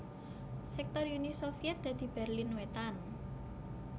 Sektor Uni Sovyèt dadi Berlin Wétan